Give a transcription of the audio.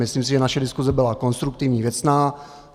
Myslím si, že naše diskuse byla konstruktivní, věcná.